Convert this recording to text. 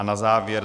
A na závěr -